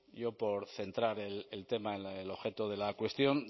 yo por centrar el tema en el objeto de la cuestión